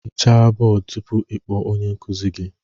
Hichaa bọọdụ tupu ị kpọọ onye nkuzi gị